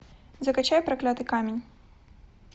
закачай проклятый камень